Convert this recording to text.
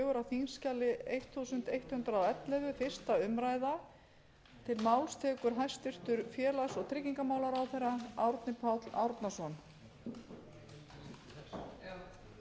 virðulegi forseti ég mæli hér fyrir frumvarpi til laga um breytingar á lögum um húsnæðismál sem